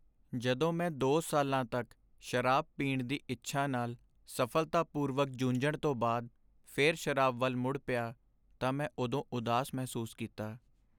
ਜਦੋਂ ਮੈਂ ਦੋ ਸਾਲਾਂ ਤੱਕ ਸ਼ਰਾਬ ਪੀਣ ਦੀ ਇੱਛਾ ਨਾਲ ਸਫ਼ਲਤਾਪੂਰਵਕ ਜੂਝਣ ਤੋਂ ਬਾਅਦ ਫਿਰ ਸ਼ਰਾਬ ਵੱਲ ਮੁੜ ਪਿਆ ਤਾਂ ਮੈਂ ਉਦੋਂ ਉਦਾਸ ਮਹਿਸੂਸ ਕੀਤਾ